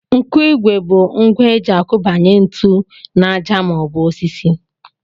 Nkụigwe bụ ngwa e ji akụbanye ntu n'àjà maọbụ osisi